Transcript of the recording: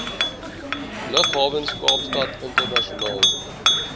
lughawens kaapstad internasionaal